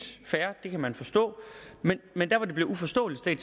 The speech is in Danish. fair det kan man forstå men der hvor det bliver uforståeligt vil